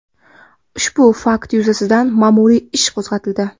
Ushbu fakt yuzasidan ma’muriy ish qo‘zg‘atildi.